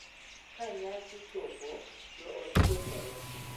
Ka nyasi chopo, joot chokore .